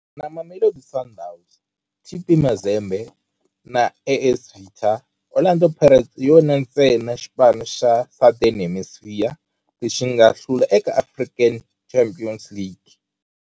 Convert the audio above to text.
Na Mamelodi Sundowns, TP Mazembe na AS Vita, Orlando Pirates hi yona ntsena xipano xa Southern Hemisphere lexi nga hlula eka African Champions League.